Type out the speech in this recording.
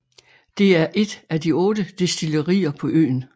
Det er et af otte destillerier på øen